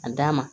A d'a ma